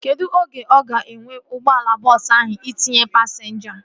Kedụ oge ọ ga-ewe ụgbọala bọọsu ahu itinye pasinja?